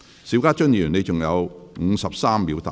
邵家臻議員，你還有53秒答辯。